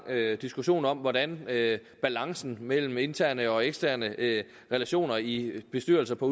diskussion om hvordan balancen mellem interne og eksterne relationer i bestyrelser på